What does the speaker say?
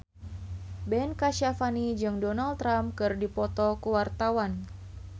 Ben Kasyafani jeung Donald Trump keur dipoto ku wartawan